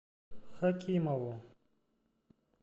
хакимову